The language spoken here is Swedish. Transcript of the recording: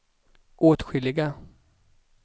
åtskilliga